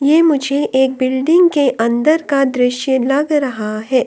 ये मुझे एक बिल्डिंग के अंदर का दृश्य लग रहा है।